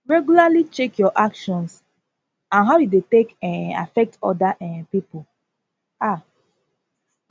regularly check your actions and how e dey take um affect oda um pipo um